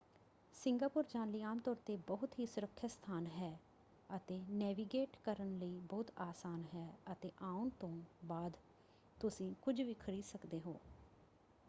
Singapore ਜਾਣ ਲਈ ਆਮ ਤੌਰ 'ਤੇ ਬਹੁਤ ਹੀ ਸੁਰੱਖਿਅਤ ਸਥਾਨ ਹੈ ਅਤੇ ਨੇਵੀਗੇਟ ਕਰਨ ਲਈ ਬਹੁਤ ਆਸਾਨ ਹੈ ਅਤੇ ਆਉਣ ਤੋਂ ਬਾਅਦ ਤੁਸੀਂ ਕੁਝ ਵੀ ਖਰੀਦ ਸਕਦੇ ਹੋ।